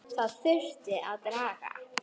Það þurfti að draga